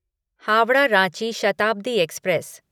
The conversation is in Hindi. हावड़ा रांची शताब्दी एक्सप्रेस